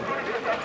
Nə gəlir?